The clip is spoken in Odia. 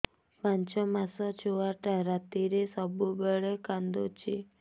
ପାଞ୍ଚ ମାସ ଛୁଆଟା ରାତିରେ ସବୁବେଳେ କାନ୍ଦୁଚି